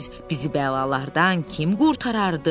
Bizi bəlalardan kim qurtarardı?